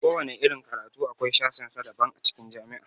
Kowana irin karatu akwai sashen sa daban a cikin jami'a.